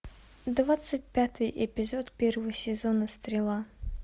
двадцать пятый эпизод первого сезона стрела